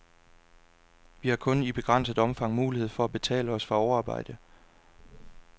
Vi har kun i begrænset omfang mulighed for at betale os fra overarbejde.